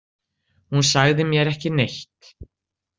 Hún sagði mér ekki neitt.